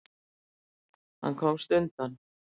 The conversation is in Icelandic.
Hann komst undan.